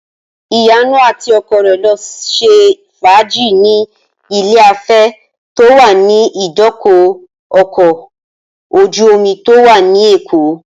Ìyanu àti ọkọ rẹ̀ lọ ṣe fàájì ní ilé-afẹ́ tó wà ní ìdíkọ̀ ọkọ̀ ojú-omi tó wà ní Èkó